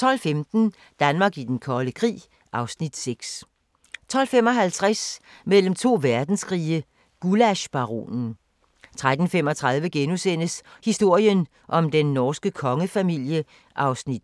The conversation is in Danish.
12:15: Danmark i den kolde krig (Afs. 6) 12:55: Mellem to verdenskrige – Gullaschbaronen 13:35: Historien om den norske kongefamilie (2:7)*